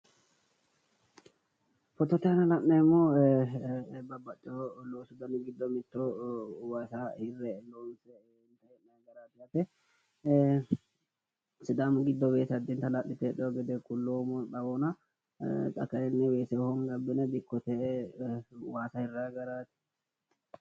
Fotote aana la'neemmohu babbaxxiwo loosu dani giddono mittoho. Waasa hirre loonse hee'nayi garaati yaate. Sidaamu giddo weese addinta hala'lite heedhiwo gede kulloommo xawohona xa Kayinni weese honge abbine dikkote waasa hirrayi garaati